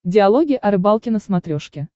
диалоги о рыбалке на смотрешке